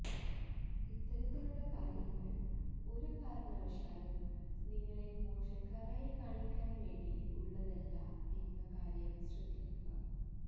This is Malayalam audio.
ഇത്തരത്തിലുള്ള കാര്യങ്ങള് ഒരു കാരണവശാലും നിങ്ങളെ മോശക്കാരായി കാണിക്കാന് വേണ്ടി ഉള്ളതല്ല എന്ന കാര്യം ശ്രദ്ധിക്കുക